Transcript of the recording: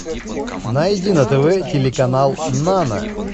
найди на тв телеканал нано